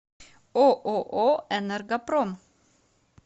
ооо энергопром